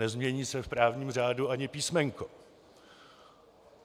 Nezmění se v právním řádu ani písmenko.